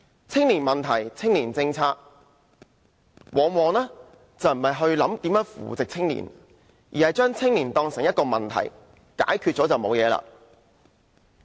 青年問題、青年政策，往往並非考慮如何扶植青年，而是把青年當成一個問題，以為解決了便沒有問題。